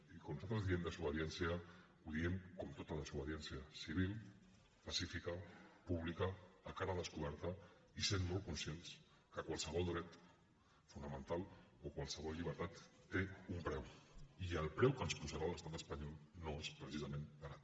i quan nosaltres diem desobediència ho diem com tota desobediència civil pacífica pública a cara descoberta i sent molt conscients que qualsevol dret fonamental o qualsevol llibertat té un preu i el preu que ens posarà l’estat espanyol no és precisament barat